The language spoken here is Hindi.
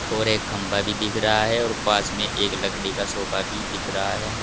और एक खंभा भी दिख रहा है और पास में एक लकड़ी का सोफा भी दिख रहा है।